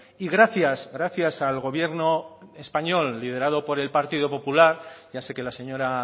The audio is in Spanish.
y gracias gracias al gobierno español liderado por el partido popular ya sé que la señora